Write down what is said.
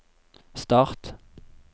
start